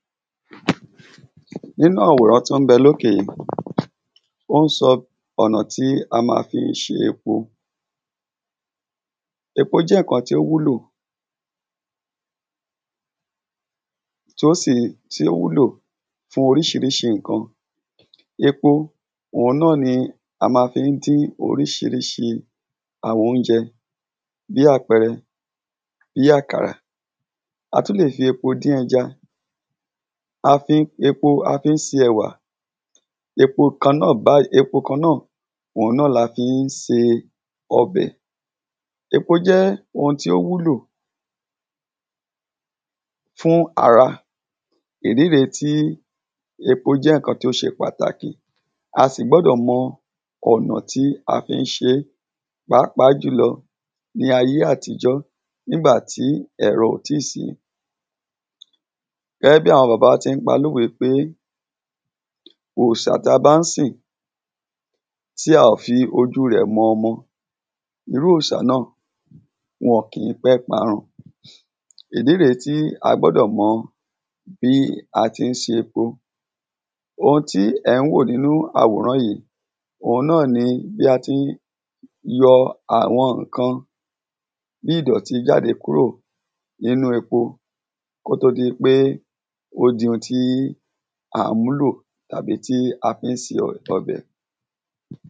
nínú àwòrán tí ón bẹ lókè yí, wọ́n sọ ọ̀nà tí a ma fi se epo, epó jẹ́ ńkan tí ó wúlò, tí ó sì, tí ó wúlò fún orísirísi ńkan, epo, òun náà ni a ma fí n dín orísirísi àwọn óúnjẹ, bí àpẹrẹ, bí àkàrà, a tún lè fi epo dín ẹja, a fí n, epo a fí n se ẹ̀wà, epo kan náà báyìí, epo kan náà, òun la fí n se ọbẹ̀, epo jẹ́ wọn tí ó wúlò fún ara, ìdí rèé tí epó jẹ́ ńkan tí ó se pàtàkì, a sì gbọ́dọ̀ mọ ọ̀nà tí a fí n se é, páàpáà jùlọ ní ayé àtijọ́ nígbà tí ẹ̀rọ kò tí sìí. gẹ́gẹ́ bí àwọn bàbá wa tí n pa lòwe pé, òrìsà ta bá n sìn tí a ò fi ojúu rẹ̀ mọ ọmọ irú òrìsà náà, wọn kìí pé parun, ìdí rèé tí a gbọ́dọ̀ mọ bí a tí n se epo, oun tí ẹ̀ ùn wò nínú àwòrán yìí, òun náà ní bí a tí n yọ àwọn ńkan bí ìdọ̀tí jáde kúrò nínú epo kí ó tó di pé ó di oun tí án múlò tàbí tí a fín se ọbẹ̀